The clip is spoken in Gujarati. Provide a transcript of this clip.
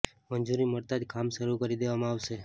મંજૂરી મળતા જ કામ શરૂ કરી દેવામાં આવશે